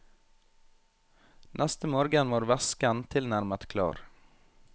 Neste morgen var væsken tilnærmet klar.